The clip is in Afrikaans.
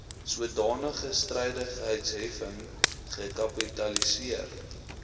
sodanige strydigheidsheffing gekapitaliseer